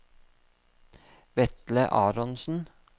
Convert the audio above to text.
Vetle Aronsen